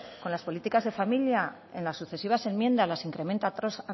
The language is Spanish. con las políticas de familia en las sucesivas enmiendas las incrementa año